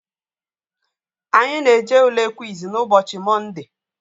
Anyị na-eje Ule kwiz n'ụbọchị mọnde